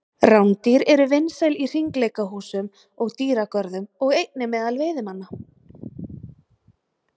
rándýr eru vinsæl í hringleikahúsum og dýragörðum og einnig meðal veiðimanna